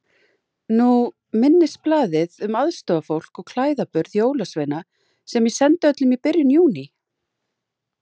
Nú minnisblaðið um aðstoðarfólk og klæðaburð jólasveina sem ég sendi öllum í byrjun Júní.